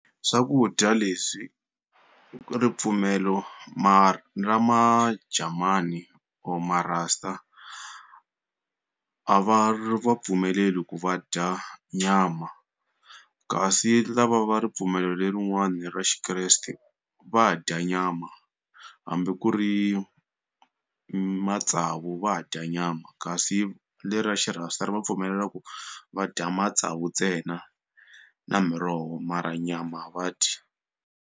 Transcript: Swakudya leswi ripfumelo ra ma jamani or ma raster a va ri va pfumeleli ku va dya nyama kasi lava va ripfumelo lerin'wani ra xi Kreste va dya nyama hambi ku ri matsavu va dya nyama kasi le ra xi-raster ri va pfumelela ku va dya matsavu ntsena na miroho mara nyama a va dyi.